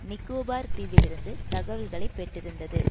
நிக்கோபார் தீவிலிருந்து தகவல்களை பெற்றிருந்தது